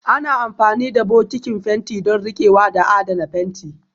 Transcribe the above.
Ana amfani da bokitin fenti don riƙewa da adana fenti